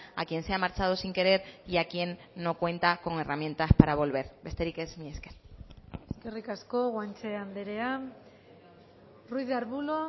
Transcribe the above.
a quien se ha marchado sin querer y a quien no cuenta con herramientas para volver besterik ez mila esker eskerrik asko guanche andrea ruiz de arbulo